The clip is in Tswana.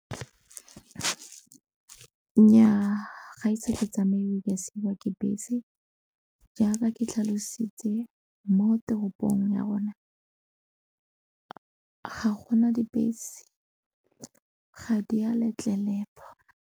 Nnyaa ga ise ke tsamaye ka siwa ke bese jaaka ke tlhalositse mo toropong ya rona ga gona dibese ga di a letlelelwa.